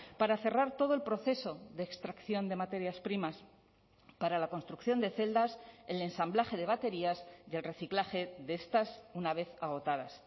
para cerrar todo el proceso de extracción de materias primas para la construcción de celdas el ensamblaje de baterías y el reciclaje de estas una vez agotadas